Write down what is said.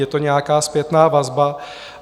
Je to nějaká zpětná vazba.